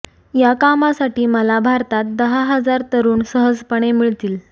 या कामासाठी मला भारतात दहा हजार तरुण सहजपणे मिळतील